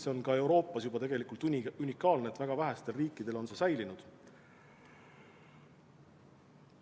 See on mujal Euroopas juba tegelikult unikaalne, väga vähestel riikidel on see alles.